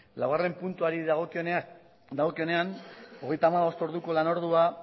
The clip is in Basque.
laugarren puntuari dagokionean hogeita hamabost orduko lanordua